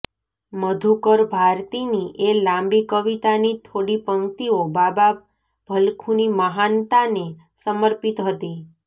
મધુકર ભારતીની એ લાંબી કવિતાની થોડી પંક્તિઓ બાબા ભલખૂની મહાનતાને સમર્પિત હતી